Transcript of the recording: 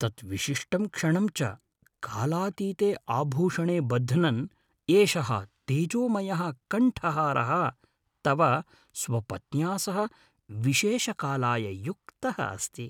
तत् विशिष्टं क्षणं च कालातीते आभूषणे बध्नन् एषः तेजोमयः कण्ठहारः तव स्वपत्न्या सह विशेषकालाय युक्तः अस्ति।